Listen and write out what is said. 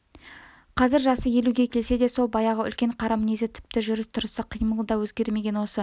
қазір жасы елуге келсе де сол баяғы үлкен қара мінезі тіпті жүріс-тұрыс қимылы да өзгермеген осы